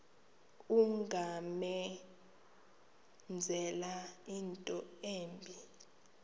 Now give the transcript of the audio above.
ungamenzela into embi